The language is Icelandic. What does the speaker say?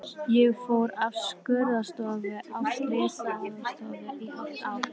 Ég fór af skurðstofunni á slysavarðstofuna í hálft ár.